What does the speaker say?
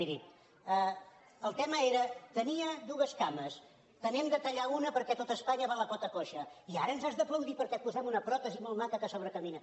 miri el tema era tenia dues cames te n’hem de tallar una perquè tot espanya va a la pota coixa i ara ens has d’aplaudir perquè et posem una pròtesi molt maca que a sobre camina